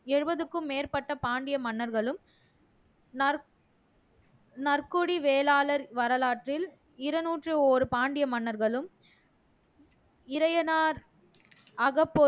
எழுபதுக்கும் மேற்பட்ட பாண்டிய மன்னர்களும் நற் நற்கொடி வேளாளர் வரலாற்றில் இருநூற்று ஒரு பாண்டிய மன்னர்களும் இறையனார் அகப்பொருள்